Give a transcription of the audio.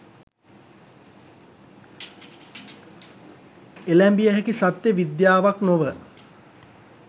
එළැඹිය හැකි සත්‍ය විද්‍යාවක් නොව.